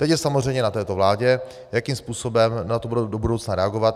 Teď je samozřejmě na této vládě, jakým způsobem na to bude do budoucna reagovat.